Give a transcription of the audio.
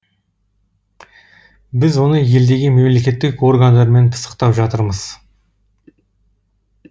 біз оны елдегі мемлекеттік органдармен пысықтап жатырмыз